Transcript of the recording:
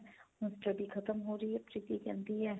ਮੇਰੀ study ਖਤਮ ਹੋ ਰਹੀ ਏ ਪ੍ਰੀਤੀ ਕਹਿੰਦੀ ਏ.